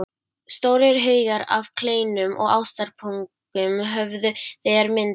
Stórir haugar af kleinum og ástarpungum höfðu þegar myndast.